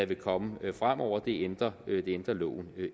vil komme fremover det ændrer ændrer loven